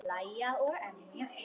Hlæja og emja.